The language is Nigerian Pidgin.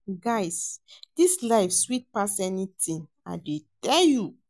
Guy dis life sweet pass anything l dey tell you